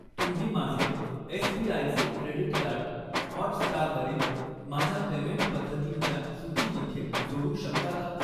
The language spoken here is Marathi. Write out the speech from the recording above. तुम्ही माझे एसबीआयचे क्रेडीट कार्ड, हॉटस्टार वरील माझ्या पेमेंट पद्धतींच्या सूचीमध्ये जोडू शकता का?